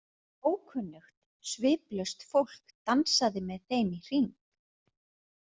Ókunnugt, sviplaust fólk dansaði með þeim í hring.